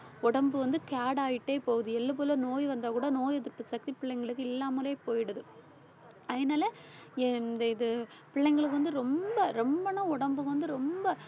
உடம்பு வந்து fat ஆயிட்டே போகுது. எள்ளுக்குள்ள நோய் வந்தா கூட நோய் எதிர்ப்பு சக்தி பிள்ளைங்களுக்கு இல்லாமலே போயிடுது. அதனால எந்த இது பிள்ளைங்களுக்கு வந்து ரொம்ப ரொம்பன்னா உடம்பு வந்து ரொம்ப